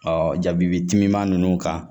Ɔ jabibi timiman ninnu kan